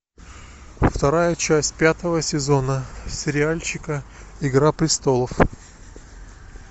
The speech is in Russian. вторая часть пятого сезона сериальчика игра престолов